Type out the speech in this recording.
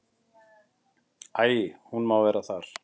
Æi, hún má vera þar.